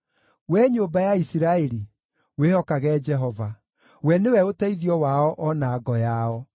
Wee nyũmba ya Isiraeli, wĩhokage Jehova: we nĩwe ũteithio wao o na ngo yao.